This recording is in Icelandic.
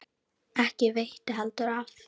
Ekki veitti heldur af.